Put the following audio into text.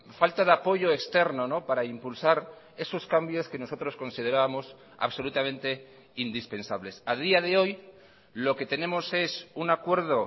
falta de apoyo externo para impulsar esos cambios que nosotros considerábamos absolutamente indispensables a día de hoy lo que tenemos es un acuerdo